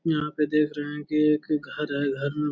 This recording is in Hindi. यहाँ पर देख रहे है कि एक घर है।